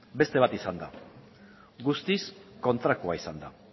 beste bat izan da guztiz kontrakoa izan da